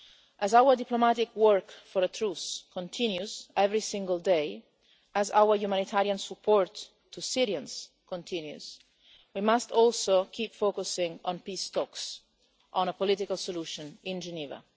As our diplomatic work for a truce continues every single day, as our humanitarian support to Syrians continues, we must also keep focusing on peace talks, on a political solution in Geneva.